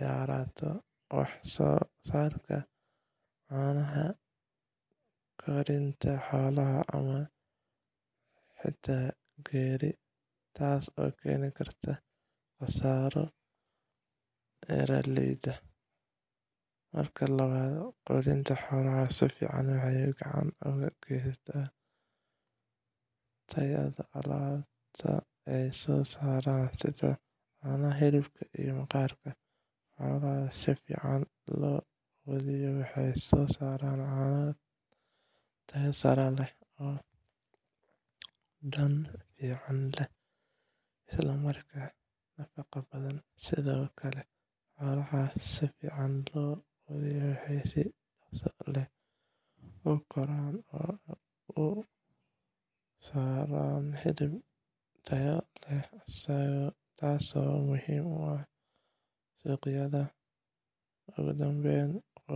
yaraato wax soo saarka caanaha, koritaanka xoolaha, ama xitaa geeri, taasoo keeni karta khasaaro beeraleyda. Marka labaad, quudinta xoolaha si fiican waxay gacan ka geysataa tayada alaabta ay soo saaraan sida caanaha, hilibka, iyo maqaar. Xoolaha si fiican loo quudiyo waxay soo saaraan caano tayo sare leh, oo dhadhan fiican leh isla markaana nafaqo badan. Sidoo kale, xoolaha si fiican loo quudiyo waxay si dhaqso ah u koraan oo soo saaraan hilib tayo sare leh, taasoo muhiim u ah suuqyada. Ugu dambeyntii